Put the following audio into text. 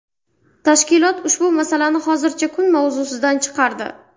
Tashkilot ushbu masalani hozircha kun mavzusidan chiqardi.